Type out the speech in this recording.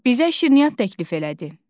Bizə şirniyyat təklif elədi.